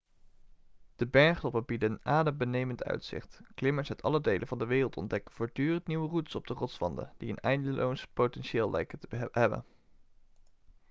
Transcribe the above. de bergtoppen bieden een adembenemend uitzicht klimmers uit alle delen van de wereld ontdekken voortdurend nieuwe routes op de rotswanden die een eindeloos potentieel lijken te hebben